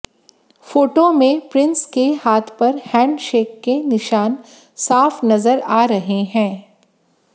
photo में prince के हाथ पर हैंडशेक के निशान साफ नजर आ रहे हैं